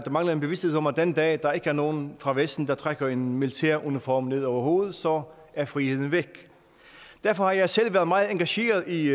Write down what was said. mangler en bevidsthed om at den dag der ikke er nogen fra vesten der trækker en militæruniform ned over hovedet så er friheden væk derfor har jeg selv været meget engageret i